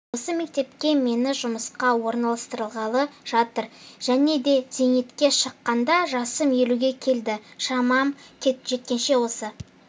осы мектепке мені жұмысқа орналастырғалы жатыр және де зейнетке шыққанша жасым елуге келді шамам жеткенше осы